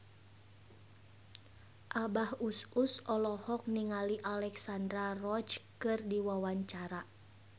Abah Us Us olohok ningali Alexandra Roach keur diwawancara